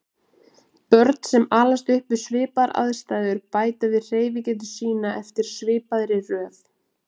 Börn sem alast upp við svipaðar aðstæður bæta við hreyfigetu sína eftir svipaðri röð.